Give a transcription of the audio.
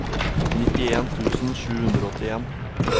nittien tusen sju hundre og åttien